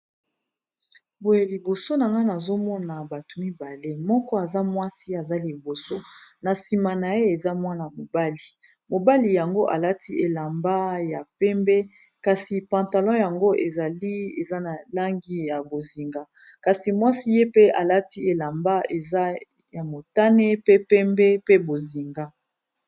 boye liboso na ngana azomona bato mibale moko aza mwasi aza liboso na nsima na ye eza mwana mobali mobali yango alati elamba ya pembe kasi pantalon yango ezali eza na langi ya bozinga kasi mwasi ye pe alati elamba eza ya motane pe pembe pe bozinga